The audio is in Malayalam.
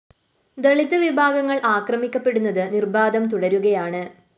ദളിത് വിഭാഗങ്ങള്‍ ആക്രമിക്കപ്പെടുന്നത് നിര്‍ബാധം തുടരുകയാണ്